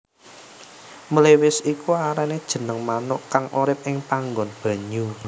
Mliwis iku arane jeneng manuk kang urip ing panggon banyu